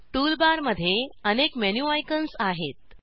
tool bar मध्ये अनेक menu icons आहेत